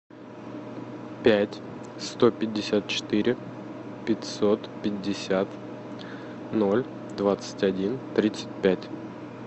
пять сто пятьдесят четыре пятьсот пятьдесят ноль двадцать один тридцать пять